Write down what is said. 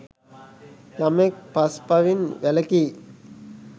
යමෙක් පස් පවින් වැළකී